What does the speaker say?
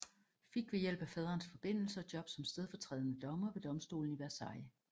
Fik ved hjælp af faderens forbindelser job som stedfortrædende dommer ved domstolen i Versailles